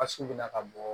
Basi bɛ na ka bɔ